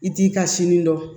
I t'i ka sini dɔn